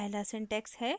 पहला सिंटेक्स हैः